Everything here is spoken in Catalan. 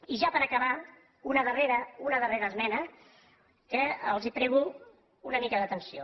i ja per acabar una darrera una darrera esmena que els prego una mica d’atenció